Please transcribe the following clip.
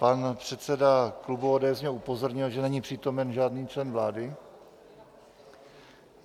Pan předseda klubu ODS mě upozornil, že není přítomen žádný člen vlády.